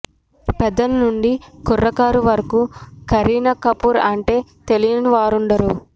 పెద్దల నుండి కుర్రకారు వరకూ కరీనా కపూర్ అంటే తెలియని వారుండరు